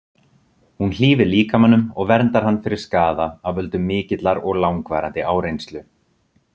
Hún hlífir líkamanum og verndar hann fyrir skaða af völdum mikillar og langvarandi áreynslu.